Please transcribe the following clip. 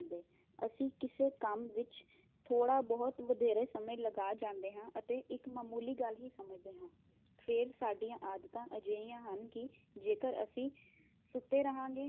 ਅਸੀਂ ਕਿਸੇ ਕੰਮ ਵਿਚ ਥੋੜਾ ਬਹੁਤ ਵਧੇਰੇ ਸਮੇ ਲਗਾ ਜਾਂਦੇ ਹਾਂ ਅਤੇ ਇਕ ਮਾਮੂਲੀ ਗੱਲ ਵੀ ਸਮਝਦੇ ਹਾਂ, ਫਿਰ ਸਾਡੀਆਂ ਆਦਤਾ ਅਜਿਹੀਆ ਹਨ ਕੀ ਜੇਕਰ ਅਸੀਂ ਸੁੱਤੇ ਰਹਾਗੇ